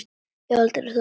Ég hef aldrei þolað hann.